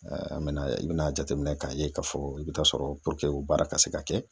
an be na i be na jateminɛ ka ye ka fɔ i be taa sɔrɔ o baara ka se ka kɛ